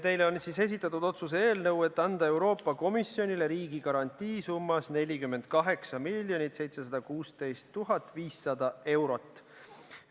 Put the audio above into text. Teile on esitatud otsuse eelnõu, et anda Euroopa Komisjonile riigigarantii summas 48 716 500 eurot.